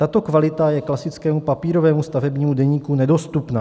Tato kvalita je klasickému papírovému stavebnímu deníku nedostupná.